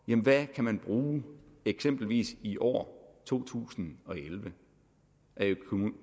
hvad man kan bruge eksempelvis i år to tusind og elleve af